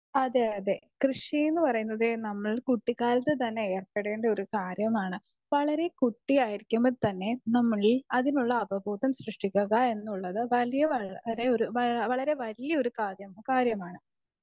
speaker 2 അതെ അതെ കൃഷി എന്ന് പറയുന്നത് നമ്മൾ കുട്ടികാലത്ത് ഏർപ്പെടേണ്ട ഒരു കാര്യമാണ് വളരെ കുട്ടിയായിരിക്കുമ്പോൾ തന്നെ നമ്മളിൽ അതിനുള്ള അപബോധം സൃഷ്ടിക്കുക എന്നുള്ളത് വളരെ വലിയൊരു കാര്യമാണ്